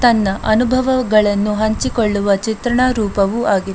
ತನ್ನ ಅನುಭವಗಳನ್ನು ಹಂಚಿಕೊಳ್ಳುವ ಚಿತ್ರಣ ರೂಪವೂ ಆಗಿದೆ.